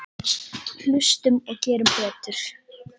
Hlustum og gerum betur.